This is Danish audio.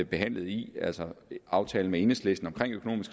behandlet i altså aftalen med enhedslisten